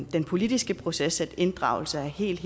den politiske proces at inddragelse er helt